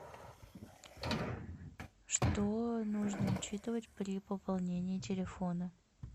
что нужно учитывать при пополнении телефона